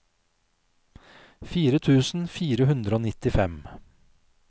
fire tusen fire hundre og nittifem